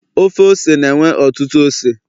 Ofe ose na enwe ọtụtụ ose